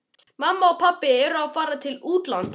Mamma og pabbi eru að fara til útlanda.